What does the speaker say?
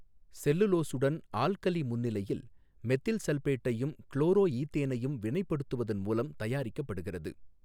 செல்லுலோசுடன் alkali முன்னிலையில் methyl சல்பேட்டையும் குளோரோஈதேனையும் வினைப்படுத்துவதன் மூலம் தயாரிக்கப்படுகிறது.